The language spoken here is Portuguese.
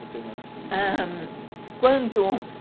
Você, ah... quando...